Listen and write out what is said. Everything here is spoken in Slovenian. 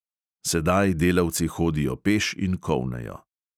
Sedaj delavci hodijo peš in kolnejo.